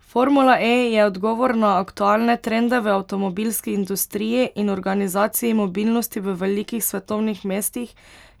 Formula E je odgovor na aktualne trende v avtomobilski industriji in organizaciji mobilnosti v velikih svetovnih mestih,